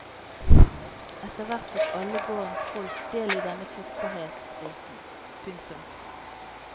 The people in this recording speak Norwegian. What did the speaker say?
Etterhvert tok alle gårdens folk del i denne fruktbarhetsriten. punktum